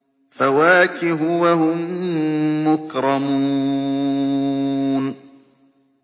فَوَاكِهُ ۖ وَهُم مُّكْرَمُونَ